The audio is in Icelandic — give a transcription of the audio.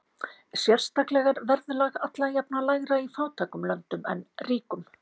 Sérstaklega er verðlag alla jafna lægra í fátækum löndum en ríkum.